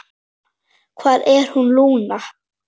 Hvar er hann, Lúna?